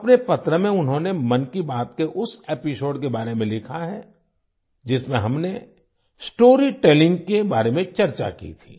अपने पत्र में उन्होंने मन की बात के उस एपिसोड के बारे में लिखा है जिसमें हमने स्टोरी टेलिंग के बारे में चर्चा की थी